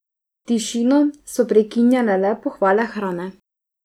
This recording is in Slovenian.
Tišino so prekinjale le pohvale hrane.